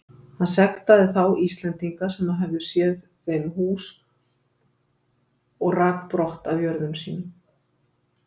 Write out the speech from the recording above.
Hann sektaði þá Íslendinga sem höfðu léð þeim hús og rak brott af jörðum sínum.